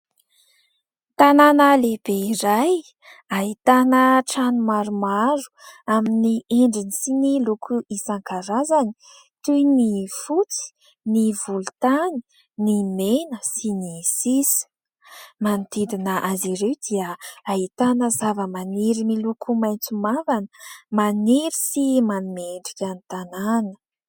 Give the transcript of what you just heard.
Tanàna lehibe iray ahitana trano maromaro amin'ny endriny sy ny loko isankarazany toy : ny fotsy, ny volontany, ny mena sy ny sisa. Manodidina azy ireo dia ahitana zava-maniry miloko maitso mavana, maniry sy manome endrika ny tanàna.